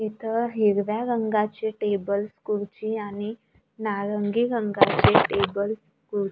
इथं हिरव्या रंगाचे टेबल्स खुर्ची आणि नारंगी रंगाचे टेबल कुर--